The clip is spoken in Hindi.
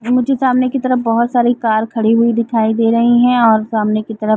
मुझे सामने की तरफ बहोत सारी कार खड़ी हुई दिखाई दे रही है और सामने की तरफ--